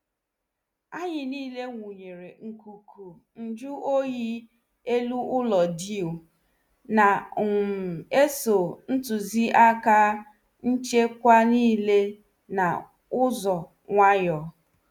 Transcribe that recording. Anyị nile wunyere nkuku nju oyi elu ụlọ dew, na- um eso ntụziaka nchekwa nile n' ụzọ nwayọọ.